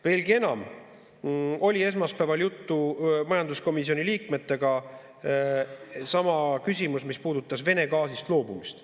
Veelgi enam, esmaspäeval oli juttu majanduskomisjoni liikmetega, sama küsimus, mis puudutas Vene gaasist loobumist.